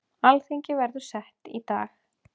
Alþingi verður sett í dag